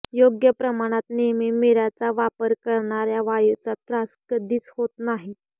योग्य प्रमाणात नेहमी मिऱ्याचा वापर करणाऱ्याला वायूचा त्रास कधीच होत नाही